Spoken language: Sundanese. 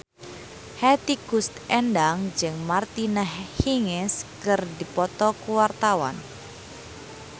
Hetty Koes Endang jeung Martina Hingis keur dipoto ku wartawan